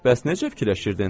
Bəs necə fikirləşirdin?